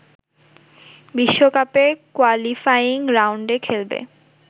বিশ্বকাপের কোয়ালিফাইং রাউন্ডে খেলবে